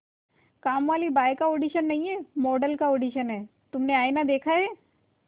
कामवाली बाई का ऑडिशन नहीं है मॉडल का ऑडिशन है तुमने आईना देखा है